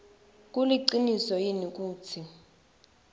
kuliciniso yini kutsi